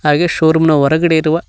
ಹಾಗೆ ಶೋರೂಮ್ ನ ಹೊರಗಡೆ ಇರುವ--